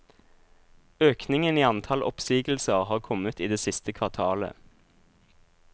Økningen i antall oppsigelser har kommet i det siste kvartalet.